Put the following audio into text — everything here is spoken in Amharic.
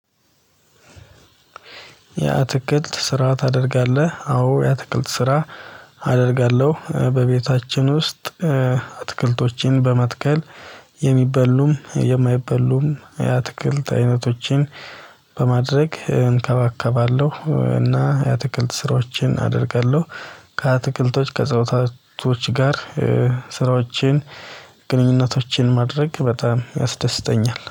የአትክልት ስራ ታደርጋለህ? አዎ የአትክልት ስራ አደርጋለሁ በቤታችን ውስጥ አትክልቶችን በመትከል የሚበሉም የማይበሉም የአትክልት አይነቶችን በማድረግ እንከባከባለሁ እና የአትክልት ስራዎችን አደርጋለሁ። ከአትክልቶች ከእፅዋታቶች ጋር ስራዎችን ግንኙነቶችን ማድረግ በጣም ያስደስተኛል